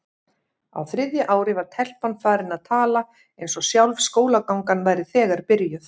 Á þriðja ári var telpan farin að tala eins og sjálf skólagangan væri þegar byrjuð.